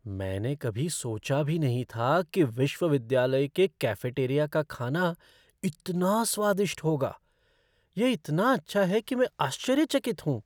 मैंने कभी सोचा भी नहीं था कि विश्वविद्यालय के कैफ़ेटेरिया का खाना इतना स्वादिष्ट होगा। यह इतना अच्छा है कि मैं आश्चर्यचकित हूँ।